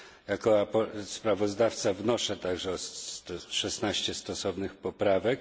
Jako sprawozdawca wznoszę także szesnaście stosownych poprawek.